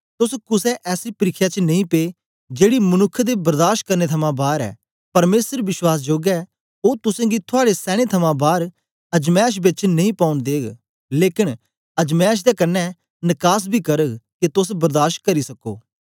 तोस कुसे ऐसी परिख्या च नेई पे जेड़ी मनुक्ख दे बर्दाश करने थमां बार ऐ परमेसर विश्वासजोग ऐ ओ तुसेंगी थुआड़े सैने थमां बार अजमैश बेच नेई पौन देग लेकन अजमैश दे कन्ने नकास बी करग के तोस बर्दाश करी सको